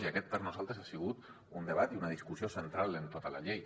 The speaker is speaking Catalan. i aquest per nosaltres ha sigut un debat i una discussió central en tota la llei